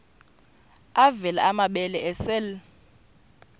avela amabele esel